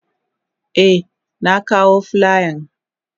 Eh na kawo filiyan.